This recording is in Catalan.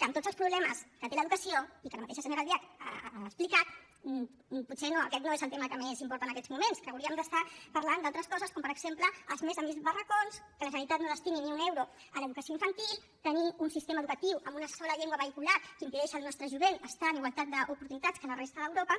que amb tots els problemes que té l’educació i que ara mateix la senyora albiach ha explicat potser aquest no és el tema que més importa en aquests moments que hauríem d’estar parlant d’altres coses com per exemple dels més de mil barracons que la generalitat no destini ni un euro a l’educació infantil tenir un sistema educatiu amb una sola llengua vehicular que impedeix al nostre jovent estar en igualtat d’oportunitats que la resta d’europa